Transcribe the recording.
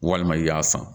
Walima i y'a san